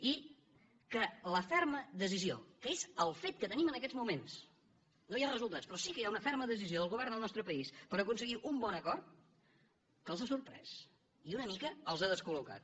i que la ferma decisió que és el fet que tenim en aquests moments no hi ha resultats però sí que hi ha una ferma decisió del govern del nostre país per aconseguir un bon acord els ha sorprès i una mica els ha descol·locat